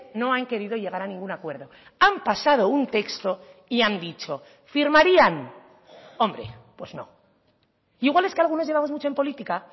no han querido llegar a ningún acuerdo han pasado un texto y han dicho firmarían hombre pues no igual es que algunos llevamos mucho en política